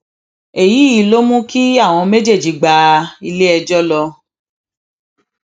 èyí ló mú kí àwọn méjèèjì gba iléẹjọ lọ